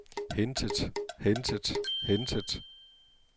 hentet hentet hentet